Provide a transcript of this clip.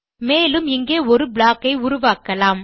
மேலும் இங்கே ஒரு ப்ளாக் ஐ உருவாக்கலாம்